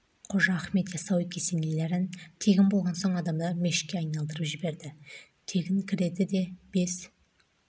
қожа ахмет яссауи кесенелерін тегін болған соң адамдар мешітке айналдырып жіберді тегін кіреді де бес